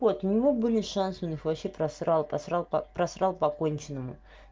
вот у него были шансы он их вообще просрал просрал п просрал по конченому